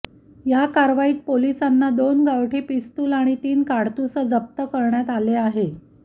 या कारवाईत पोलिसांना दोन गावठी पिस्तूल आणि तीन काडतुसं जप्त करण्यात आले आहे